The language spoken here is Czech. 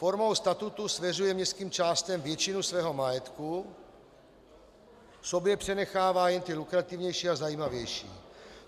Formou statutu svěřuje městským částem většinu svého majetku, sobě přenechává jen ty lukrativnější a zajímavější.